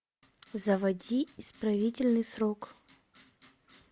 заводи исправительный срок